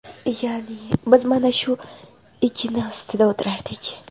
Ya’ni biz mana shu igna ustida o‘tirardik.